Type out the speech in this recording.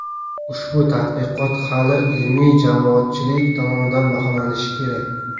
Ushbu tadqiqot hali ilmiy jamoatchilik tomonidan baholanishi kerak.